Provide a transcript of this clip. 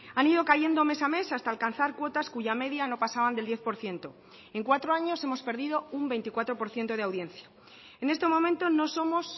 han ido cayendo mes a mes hasta alcanzar cuotas cuya media no pasaban del diez por ciento en cuatro años hemos perdido un veinticuatro por ciento de audiencia en este momento no somos